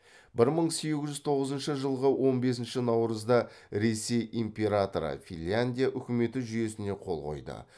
бір мың сегіз жүз тоғызыншы жылғы он бесінші наурызда ресей императоры финляндия үкіметі жүйесіне қол қойды